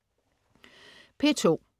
P2: